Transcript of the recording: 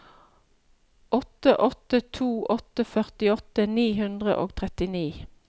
åtte åtte to åtte førtiåtte ni hundre og trettini